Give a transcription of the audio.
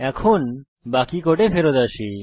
এখন বাকি কোডে ফেরৎ আসি